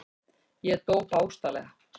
Ég dó, bókstaflega.